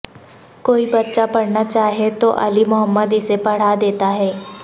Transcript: کوئی بچہ پڑھنا چاہے تو علی محمد اسے پڑھا دیتا ہے